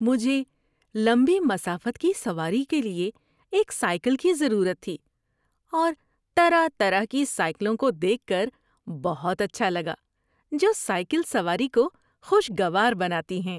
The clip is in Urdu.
مجھے لمبی مسافت کی سواری کے لیے ایک سائیکل کی ضرورت تھی اور طرح طرح کی سائیکلوں کو دیکھ کر بہت اچھا لگا جو سائیکل سواری کو خوشگوار بناتی ہیں۔